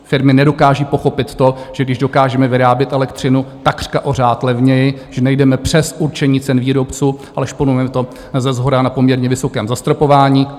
Firmy nedokážou pochopit to, že když dokážeme vyrábět elektřinu takřka o řád levněji, že nejdeme přes určení cen výrobců, ale šponujeme to seshora na poměrně vysokém zastropování.